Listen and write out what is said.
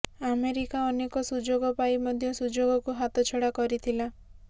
America ଅନେକ ସୁଯୋଗ ପାଇ ମଧ୍ୟ ସୁଯୋଗକୁ ହାତଛଡା କରିଥିଲା